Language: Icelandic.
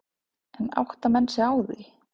En átta menn sig á því?